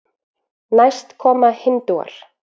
næst koma hindúar